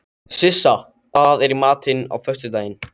Sissa, hvað er í matinn á föstudaginn?